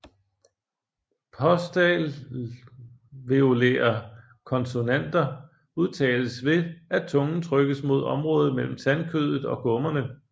Postalveolære konsonanter udtales ved at tungen trykkes mod området mellem tandkødet og gummerne